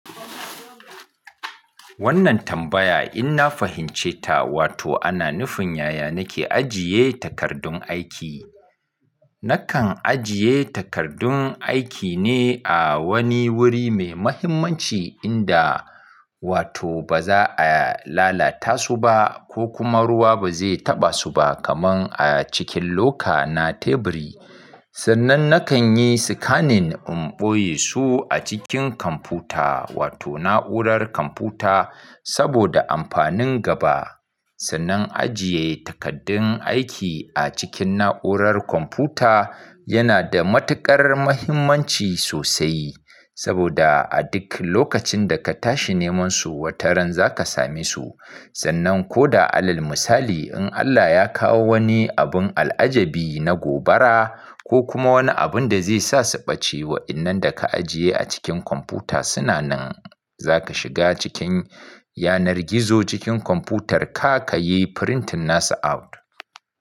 Wannan tambaya in na fahimce ta, wato ana nufin yaya nake ajiye takardun aiki. Nakan ajiye takardun aiki ne a wani wuri mai muhimmanci inda wato ba za a lalata su ba ko kuma ruwa ba zai taɓa su ba kamar a cikin loka na teburi. Sannan nakan yi scanning in ɓoye su a cikin kwamfuta wato na'urar kwamfuta saboda amfanin gaba. Sannan ajiye takardun aiki a cikin na'urar kwamfuta yana da matuƙar muhimmanci sosai saboda a duk lokacin da ka tashi neman su wataran za ka same su. Sannan ko da alal misali in Allah ya kawo wani abun al'ajabi na gobara ko kuma wani abun da zai sa su ɓace wa'innan da ka ajiye a cikin kwamfuta suna nan za ka shiga cikin yanar gizo cikin kwamfutar ka ka yi printing nasa out.